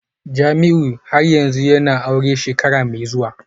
Jamiu har yanzu yana aure shekara mai zuwa?